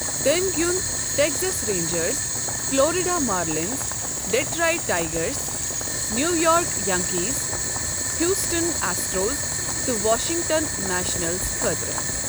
تٔمۍ گِیُونٛد Texas Rangers, Florida Marlins, Detroit Tigers, New York Yankees, Houston Astros, تہٕ Washington Nationals خٲطرٕ۔